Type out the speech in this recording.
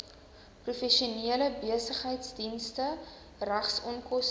professionele besigheidsdienste regsonkoste